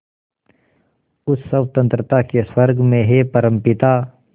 उस स्वतंत्रता के स्वर्ग में हे परमपिता